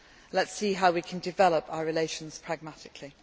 climate. Let us see how we can develop our relations pragmatically.